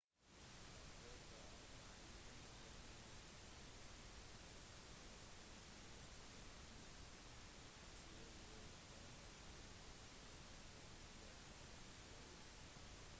den første offentlige lesingen av dokumentet var ved john nixon i hagen til uavhengighetshallen den 8. juli